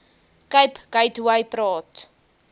cape gateway praat